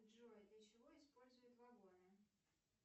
джой для чего используют вагоны